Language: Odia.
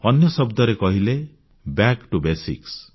ଅନ୍ୟ ଶବ୍ଦରେ କହିଲେ ବ୍ୟାକ୍ ଟିଓ ବେସିକ୍ସ